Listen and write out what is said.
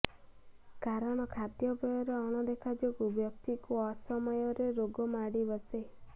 କାରଣ ଖାଦ୍ୟପେୟରେ ଅଣଦେଖା ଯୋଗୁଁ ବ୍ୟକ୍ତିକୁ ଅସମୟରେ ରୋଗ ମାଡ଼ି ବସେ